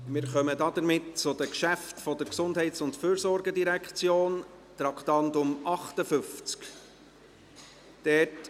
Damit kommen wir zu den Geschäften der GEF, Traktandum 58.